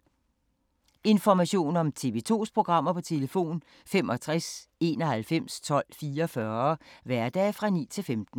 Information om TV 2's programmer: 65 91 12 44, hverdage 9-15.